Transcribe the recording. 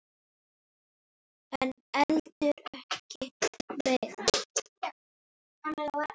En heldur ekkert meira.